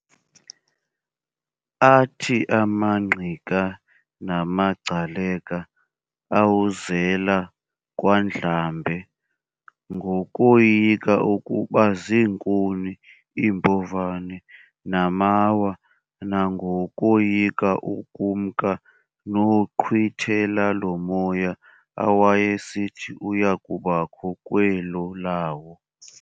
athi amaNgqika namagcaleka awuzela kwaNdlambe ngokoyika ukuba ziinkuni, iimbovane, namawa, nangokoyika ukumka noqhwithela lomoya awayesithi uyakubakho kwelo lawo.